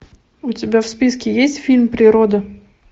у тебя в списке есть фильм природа